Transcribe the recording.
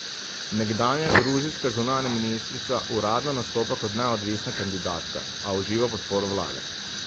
Nekdanja gruzijska zunanja ministrica uradno nastopa kot neodvisna kandidatka, a uživa podporo vlade.